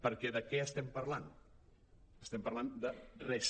perquè de què estem parlant estem parlant de res